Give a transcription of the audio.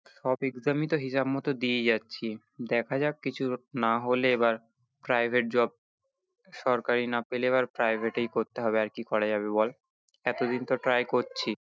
সব exam ই তো হিসেব মতো দিয়ে যাচ্ছি, দেখা যাক কিছু না হলে এবার private job সরকারি না পেলে এবার private এই করতে হবে আর কি করা যাবে বল এতদিন তো try করছি